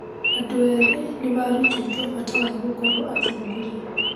Andũ ethĩ nĩ maarutĩtwo bata wa gũkorwo atongoria.